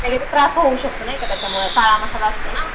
त्रास होऊ शकतो ना त्याच्यामुळं काळा मसाला असतो ना.